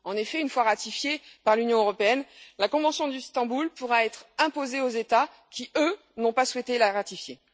En effet, une fois ratifiée par l'Union européenne, la convention d'Istanbul pourra être imposée aux États qui n'ont pas souhaité la ratifier.